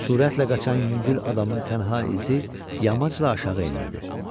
Sürətlə qaçan yüngül adamın tənhə izi yamacla aşağı enirdi.